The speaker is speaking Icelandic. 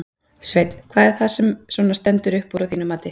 Sveinn: Hvað er það sem að svona stendur upp úr að þínu mati?